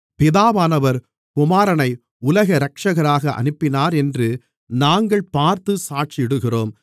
பிதாவானவர் குமாரனை உலக இரட்சகராக அனுப்பினாரென்று நாங்கள் பார்த்து சாட்சியிடுகிறோம்